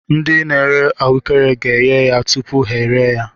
Ndị n'ere ahuekere ga eghe ya tụpụ ha eree ya.